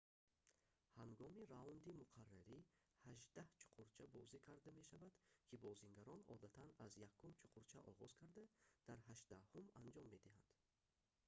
ҳангоми раунди муқаррарӣ ҳаштдаҳ чуқурча бозӣ карда мешаванд ки бозигарон одатан аз якум чуқурча оғоз карда дар ҳаштдаҳум анҷом медиҳанд